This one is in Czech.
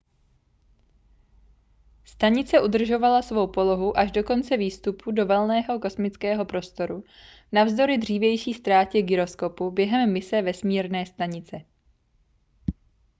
stanice udržovala svou polohu až do konce výstupu do volného kosmického prostoru navzdory dřívější ztrátě gyroskopu během mise vesmírné stanice